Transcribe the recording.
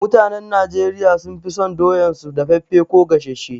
Mutanen Najeriya sun fi son doyan su daffafe ko gasashe